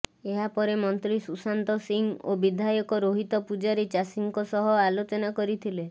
ଏହାପରେ ମନ୍ତ୍ରୀ ସୁଶାନ୍ତ ସିଂହ ଓ ବିଧାୟକ ରୋହିତ ପୂଜାରୀ ଚାଷୀଙ୍କ ସହ ଆଲୋଚନା କରିଥିଲେ